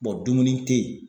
dumuni te ye